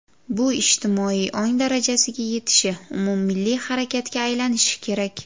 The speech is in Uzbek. Bu ijtimoiy ong darajasiga yetishi, umummilliy harakatga aylanishi kerak.